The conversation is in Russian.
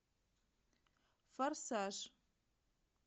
форсаж